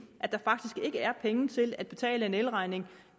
at der faktisk ikke er penge til at betale en elregning